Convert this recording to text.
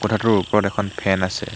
কোঠাটোৰ ওপৰত এখন ফেন আছে।